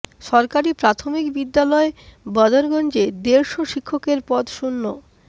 সরকারি প্রাথমিক বিদ্যালয় বদরগঞ্জে দেড় শ শিক্ষকের পদ শূন্য